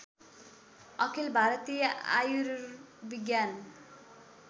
अखिल भारतीय आयुर्विज्ञान